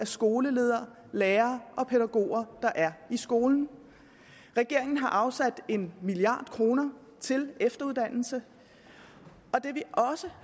skoleledere lærere og pædagoger der er i skolen regeringen har afsat en milliard kroner til efteruddannelse vi